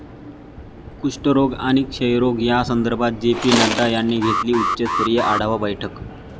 कुष्ठरोग आणि क्षयरोग या संदर्भात जे. पी. नड्डा यांनी घेतली उच्चस्तरीय आढावा बैठक